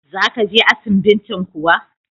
Za ka je asibintin kuwa?